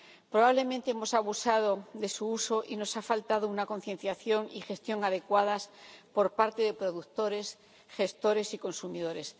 Probablemente hemos abusado de su uso y nos ha faltado una concienciación y gestión adecuadas por parte de productores, gestores y consumidores.